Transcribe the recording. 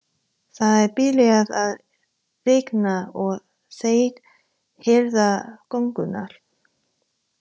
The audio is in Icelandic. Það er byrjað að rigna og þeir herða gönguna.